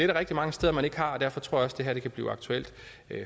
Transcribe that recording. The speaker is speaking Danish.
der rigtig mange steder man ikke har og derfor tror jeg også det her kan blive aktuelt